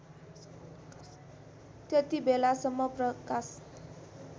त्यति बेलासम्म प्रकाश